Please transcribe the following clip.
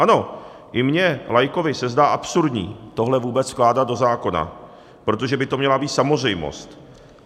Ano, i mně laikovi se zdá absurdní tohle vůbec vkládat do zákona, protože by to měla být samozřejmost.